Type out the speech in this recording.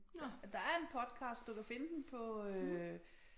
Der der er en podcast du kan finde den på øh